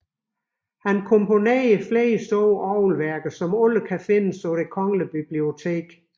Han komponerede flere store orgelværker som alle kan findes på Det Kongelige Bibliotek